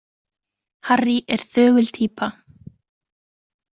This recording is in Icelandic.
Harry er þögul týpa.